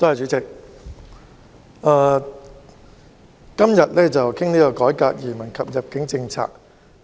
主席，今天討論"改革移民及入境政策"議案。